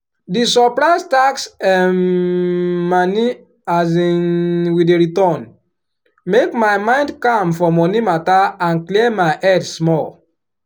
di surprise tax um moni um we dey return make my mind calm for money matter and clear my head small.